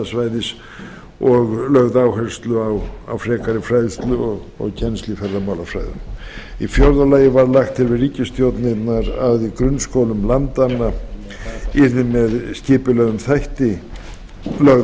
ferðamannasvæðis og lögð áhersla á frekari fræðslu og kennslu í ferðamálafræðum í fjórða lagi var lagt til við ríkisstjórnirnar að í grunnskólum landanna yrði með skipulögðum hætti lögð